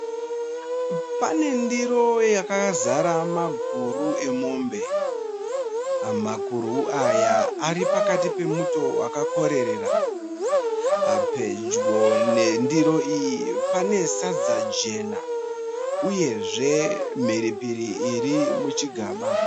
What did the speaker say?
Pane ndiro yakazara maguru emombe. Makuru aya aripakati pemuto wakakorerera. Pedyo nendiro iyi pane sadza jena uyezve mhiripiri iri muchigaba.